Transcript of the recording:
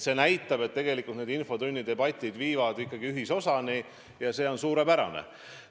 See näitab, et tegelikult võivad infotunni debatid ikkagi ühisosani viia, ja see on suurepärane.